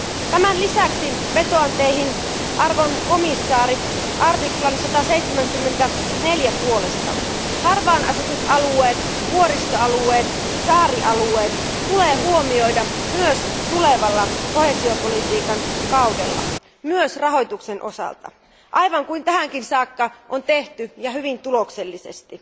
Tämän lisäksi vetoan Teihin, arvoisat komission jäsenet, 174 artiklan puolesta harvaanasutut alueet, vuoristoalueet ja saarialueet tulee huomioida myös tulevalla koheesiopolitiikan kaudella, myös rahoituksen osalta, aivan kuin tähänkin saakka on tehty ja hyvin tuloksellisesti.